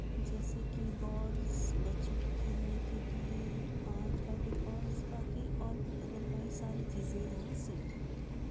जेसे की बोल्स बच्चों के खेलने के लिए है और फेविकोल्स बाकी ओर भी अदर्वाइज़ सारी चीजे यहा सेल हो रही हे।